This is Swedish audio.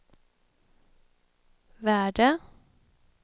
värde